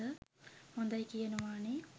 හොදයි කියනවා නේ.